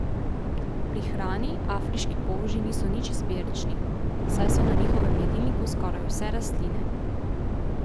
Pri hrani afriški polži niso nič izbirčni, saj so na njihovem jedilniku skoraj vse rastline.